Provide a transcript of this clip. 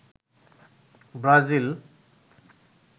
Brazil